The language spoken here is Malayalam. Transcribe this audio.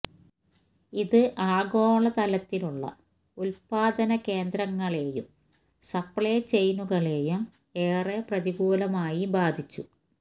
ഇത് ആഗോള തലത്തിലുള്ള ഉത്പാദന കേന്ദ്രങ്ങളെയും സപ്ലൈ ചെയിനുകളെയും ഏറെ പ്രതികൂലമായി ബാധിച്ചു